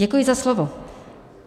Děkuji za slovo.